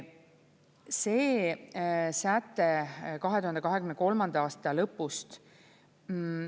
See säte 2023. aasta lõpust.